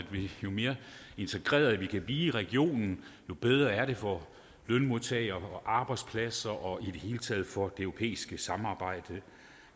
jo mere integrerede vi kan i regionen jo bedre er det for lønmodtagere arbejdspladser og i det hele taget for det europæiske samarbejde